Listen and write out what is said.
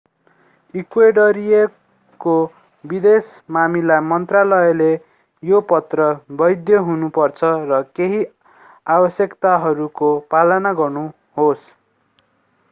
इक्वेडरियाको विदेश मामिला मन्त्रालयले यो पत्र वैध हुनु पर्छ र केहि आवश्यकताहरूको पालना गर्नुहोस्